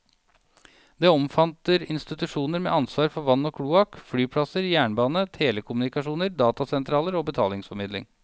Det omfatter institusjoner med ansvar for vann og kloakk, flyplasser, jernbane, telekommunikasjoner, datasentraler og betalingsformidling.